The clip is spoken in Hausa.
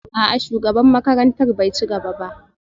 A'a shugaban makarantar bai ci gaba ba